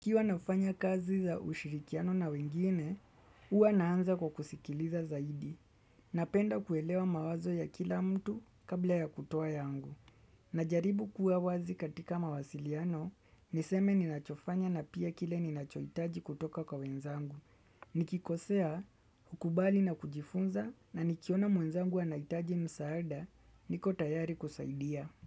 Kiwa nafanya kazi za ushirikiano na wengine, huwa naanza kwa kusikiliza zaidi. Napenda kuelewa mawazo ya kila mtu kabla ya kutoa yangu. Najaribu kuwa wazi katika mawasiliano, niseme ninachofanya na pia kile ni nachoitaji kutoka kwa wenzangu. Nikikosea, hukubali na kujifunza na nikiona mwenzangu anaitaji msaada, niko tayari kusaidia.